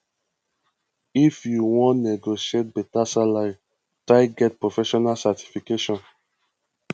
if you wan negotiate beta salary try get professional certification